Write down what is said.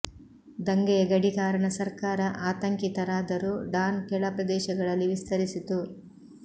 ದಂಗೆಯ ಗಡಿ ಕಾರಣ ಸರ್ಕಾರ ಆತಂಕಿತರಾದರು ಡಾನ್ ಕೆಳ ಪ್ರದೇಶಗಳಲ್ಲಿ ವಿಸ್ತರಿಸಿತು